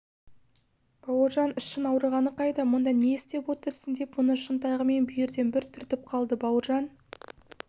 бауыржан ішің ауырғаны қайда мұнда не істеп отырсың деп мұны шынтағымен бүйірден бір түртіп қалды бауыржан